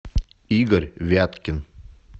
игорь вяткин